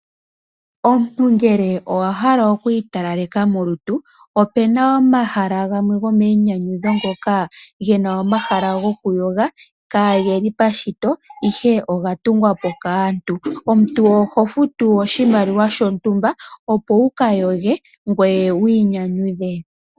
Omuntu ngele owa hala oku italaleka molutu, opena omahala gamwe gomainyanyudho ngoka gena omahala goku yoga kaa geli pashito, ihe oga tungwa po kaantu. Omuntu oho futu oshimaliwa shontumba opo wu ka yoge ngoye wu inyanyudhe.